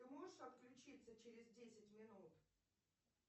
ты можешь отключиться через десять минут